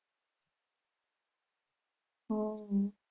હમ